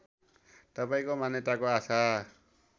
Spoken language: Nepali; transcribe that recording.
तपाईँको मान्यताको आशा